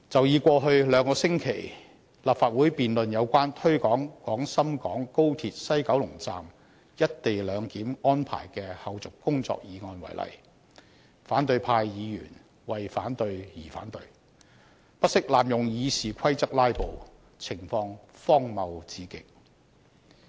以過去兩星期立法會辯論有關推展廣深港高鐵西九龍站"一地兩檢"安排的後續工作議案為例，反對派議員為反對而反對，不惜濫用《議事規則》"拉布"，情況荒謬至極。